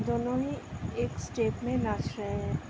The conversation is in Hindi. दोनो ही एक स्टेप में नाच रहे हैं।